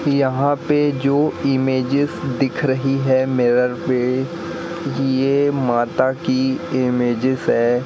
यहां पे जो इमेजेस दिख रही है मिरर पे ये माता की इमेजेस है।